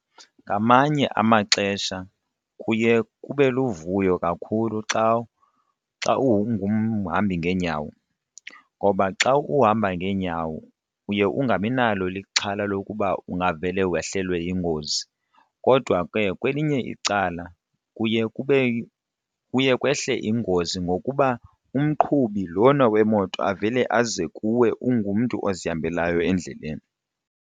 Ngamanye amaxesha kuye kube luvuyo kakhulu xa ungumhambi ngeenyawo ngoba xa uhamba ngeenyawo uye ungabi nalo ixhala lokuba ungavele wehlelwe yingozi. Kodwa ke kwelinye icala kuye kube kuye kwehle ingozi ngokuba umqhubi lona wemoto avele aze kuwe ungumntu ozihambelayo endleleni.